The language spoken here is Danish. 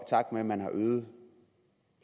takt med at man har øget